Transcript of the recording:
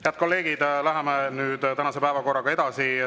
Head kolleegid, läheme nüüd tänase päevakorraga edasi.